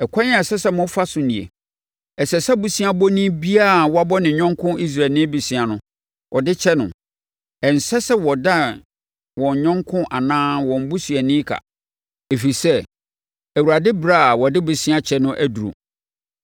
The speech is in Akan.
Ɛkwan a ɛsɛ sɛ mofa so nie: Ɛsɛ sɛ boseabɔni biara a wabɔ ne yɔnko Israelni bosea no, ɔde kyɛ no. Ɛnsɛ sɛ wɔdan wɔn yɔnko anaa wɔn busuani ka, ɛfiri sɛ, Awurade ɛberɛ a wɔde bosea kyɛ no aduru.